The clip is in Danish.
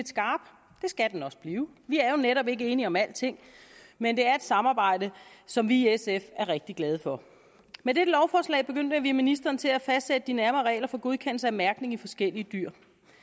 skal den også blive vi er jo netop ikke enige om alting men det er et samarbejde som vi i sf er rigtig glade for med dette lovforslag bemyndiger vi ministeren til at fastsætte de nærmere regler for godkendelse af mærkning af forskellige dyr